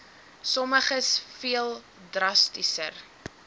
sommiges veel drastiser